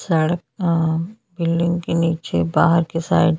सड़क अ बिल्डिंग के नीचे बाहर के साइड --